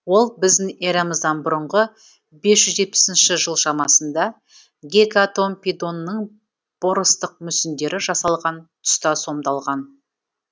ол біздің эрамыздан бұрынғы бес жүз жетпісінші жыл шамасында гекатомпедонның поростық мүсіндері жасалған тұста сомдалған